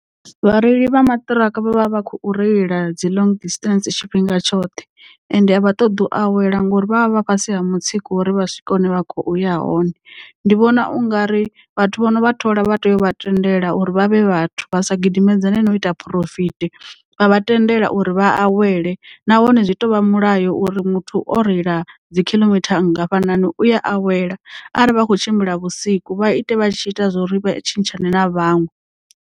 Vhareili vha maṱiraka vha vha vha khou reila dzi long distance tshifhinga tshoṱhe ende a vha ṱoḓi u awela ngori vha vha vha fhasi ha mutsiko wo uri vha swike hune vha khoya hone. Ndi vhona ungari vhathu vhono vha thola vha tea u vha tendela uri vhavhe vhathu vha sa gidimedzane no ita phurofiti vha vha tendela uri vha awele nahone zwi to vha mulayo uri muthu o reila dzi khiḽomitha nngafhanani uya awela ari vha kho tshimbila vhusiku vha ite vha tshi ita zwori tshintshane na vhaṅwe.